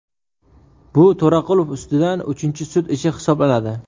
Bu To‘raqulov ustidan uchinchi sud ishi hisoblanadi.